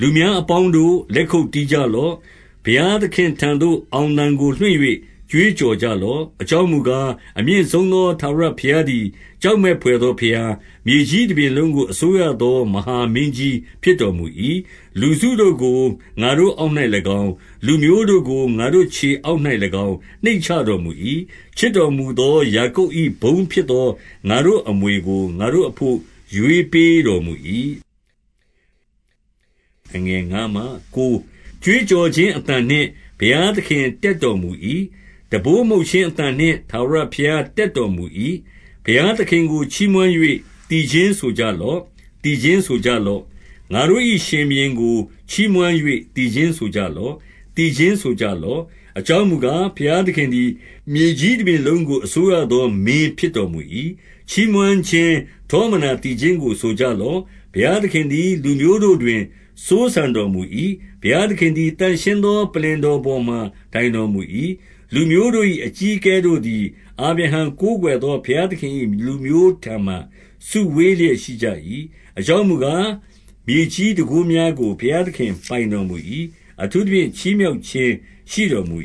လူများအပေါင်းတို့၊ လက်ခုပ်တီးကြလော့။ ဘုရား သခင်ထံသို့ အောင်သံကို လွှင့်၍ကြွေးကြော်ကြလော့။ 2 အကြောင်းမူကား၊ အမြင့်ဆုံးသော ထာဝရ ဘုရားသည် ကြောက်မက်ဘွယ်သောဘုရား၊ မြေကြီး တပြင်လုံးကို အစိုးရသော မဟာမင်းကြီးဖြစ်တော်မူ၏။ 3 လူစုတို့ကို ငါတို့အောက်၌၎င်း၊ လူမျိုးတို့ကို ငါတို့ခြေအောက်၌၎င်း နှိမ့်ချတော်မူ၏။ 4 ချစ်တော်မူသောယာကုပ်၏ ဘုန်းဖြစ်သော ငါတို့အမွေကို ငါတို့အဘို့ ရွေးပေးတော်မူ၏။ 5 ကြွေးကြော်ခြင်းအသံနှင့် ဘုရားသခင် တက်တော်မူ၏။ တံပိုးမှုတ်ခြင်းအသံနှင့် ထာဝရဘုရား တက်တော်မူ၏။ 6 ဘုရားသခင်ကို ချီးမွမ်း၍ သီချင်းဆိုကြလော့။ သီချင်းဆိုကြလော့။ ငါတို့၏ရှင်ဘုရင်ကို ချီးမွမ်း၍ သီချင်းဆိုကြလော့။ သီချင်းဆိုကြလော့။ 7 အကြောင်းမူကား၊ ဘုရားသခင်သည် မြေကြီး တပြင်လုံးကိုအစိုးရသော မင်းဖြစ်တော်မူ၏။ ချီးမွမ်းခြင်း ထောမနာ သီချင်းကို ဆိုကြလော့။ 8 ဘုရားသခင်သည် လူမျိုးတို့တွင် စိုးစံတော်မူ၏။ ဘုရားသခင်သည် သန့်ရှင်းသော ပလ္လင်တော်ပေါ်မှာ ထိုင်တော်မူ၏။ 9 လူမျိုးတို့၏ အကြီးအကဲတို့သည် အာဗြဟံ ကိုးကွယ်သော ဘုရားသခင်၏လူမျိုးထံမှာ စုဝေးလျက် ရှိကြ၏။ အကြောင်းမူကား၊ မြေကြီးတန်ခိုးများကို ဘုရား သခင်ပိုင်တော်မူ၏။ အထူးသဖြင့် ချီးမြှောက်ခြင်း ရှိတော် မူ